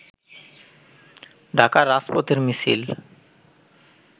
ঢাকার রাজপথের মিছিল